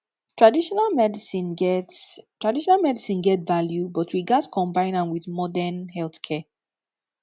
traditional medicine get traditional medicine get value but we gats combine am with modern healthcare